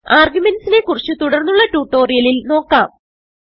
arguments നെ കുറിച്ച് തുടർന്നുള്ള ട്യൂട്ടോറിയലിൽ നോക്കാം